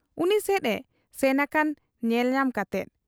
ᱩᱱᱤᱥᱮᱫ ᱮ ᱥᱮᱱ ᱟᱠᱟᱱᱟ ᱧᱮᱞ ᱧᱟᱢ ᱠᱟᱛᱮ ᱾